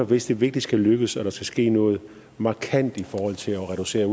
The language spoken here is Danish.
hvis det virkelig skal lykkes og hvis der skal ske noget markant i forhold til at reducere